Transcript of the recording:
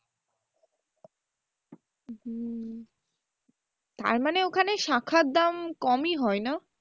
হম তার মানে ওখানে শাঁখার দাম খুব কমই হয় না?